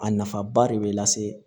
A nafa ba de bɛ lase